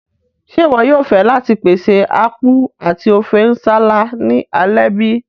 Ṣe iwọ yóò fẹ láti pèsè Apku ati Ofe nsala ni alẹ́ bi?